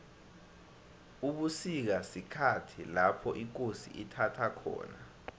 ubusika sikhhathi lopho ikosi ithaba khona